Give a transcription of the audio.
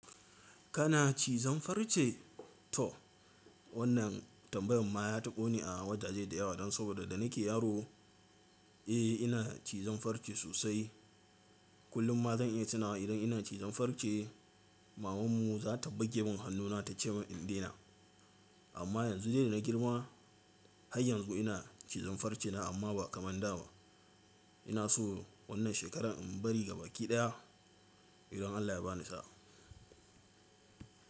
Kana cizon farce to? Wannan tambayan ma ya taɓa ni a wajaje da yawa dan saboda da nike yaro, eh ina cizon farce sosai. Kullum ma zan iya tuna idan ina cizon farce maman mu za ta bage min hannuna ta cema in daina. Amma yanzu dai na girma har yanzu ina cizon farce na amma ba kamar da ba. Ina so wannan shekarar in bari gaba ki ɗaya idan Allah ya bani sa'a.